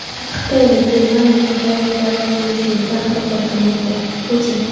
Xitoy va Germaniya qudratli davlat bo‘lish yo‘lida harakat qilmoqda – Putin.